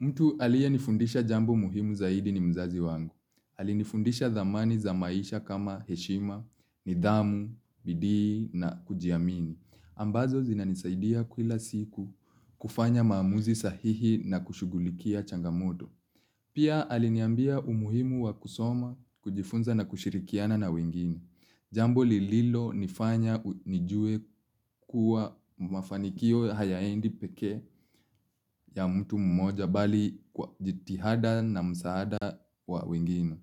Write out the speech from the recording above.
Mtu aliye nifundisha jambo muhimu zaidi ni mzazi wangu. Alinifundisha dhamani za maisha kama heshima, nidhamu, bidii na kujiamini. Ambazo zinanisaidia kwila siku kufanya maamuzi sahihi na kushugulikia changamoto. Pia aliniambia umuhimu wa kusoma, kujifunza na kushirikiana na wengine. Jambo lililo nifanya nijue kuwa mafanikio hayaendi peke ya mtu mmoja bali kwa jitihada na msaada wa wengine.